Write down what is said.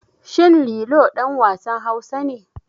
Shin Lilo ɗan wasan Hausa ne?